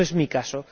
No es mi caso